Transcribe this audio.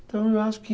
Então eu acho que